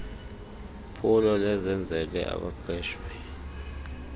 phulo lezenzele abaqeshwe